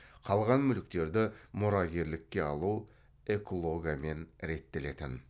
қалған мүліктерді мұрагерлікке алу эклогамен реттелетін